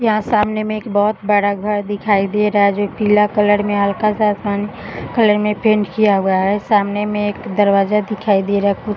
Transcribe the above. यहाँ सामने में एक बहोत बड़ा घर दिखाई दे रहा है जो पीला कलर में हल्का सा आसमानी कलर में पेंट किया हुआ है। सामने में एक दरवाजा दिखाई दे रहा है। कुछ --